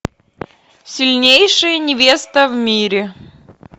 сильнейшая невеста в мире